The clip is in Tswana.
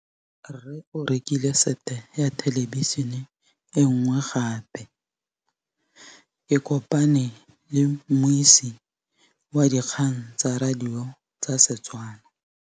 Rre o rekile sete ya thêlêbišênê e nngwe gape. Ke kopane mmuisi w dikgang tsa radio tsa Setswana.